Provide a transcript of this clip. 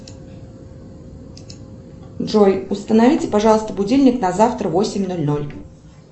джой установите пожалуйста будильник на завтра восемь ноль ноль